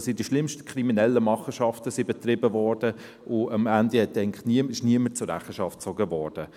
Die schlimmsten kriminellen Machenschaften wurden betrieben, und am Ende wurde eigentlich niemand zur Rechenschaft gezogen.